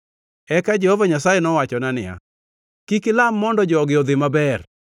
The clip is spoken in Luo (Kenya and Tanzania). Eka Jehova Nyasaye nowachona, “Kik ilam mondo jogi odhi maber.